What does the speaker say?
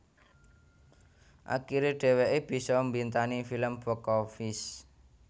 Akiré dheweké bisa mbintangi film box office